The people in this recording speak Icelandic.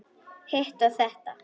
Hitt og þetta.